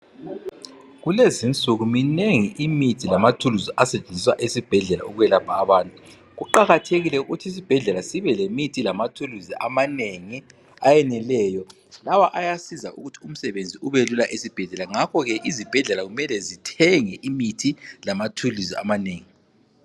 Kulezi insuku minengi imithi lamathuluzi asetshenziswa esibhedlela okwelapha abantu. Kuqakathekile ukuthi isibhedlela sibe lemithi lamathuluzi amanengi ayeneleyo. Lawa ayasiza ukuthi umsebenzi ubelula. Ngakho ke izibhedlela kumele zithenge imithi lamathuluzi kube kunengi.